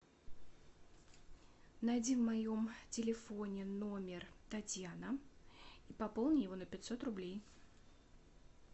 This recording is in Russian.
найди в моем телефоне номер татьяна и пополни его на пятьсот рублей